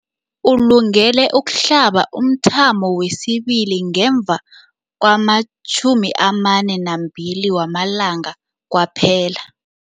Ulungele ukuhlaba umthamo wesibili ngemva kwama-42 wamalanga kwaphela.